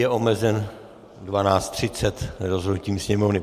Je omezen 12.30 rozhodnutím Sněmovny.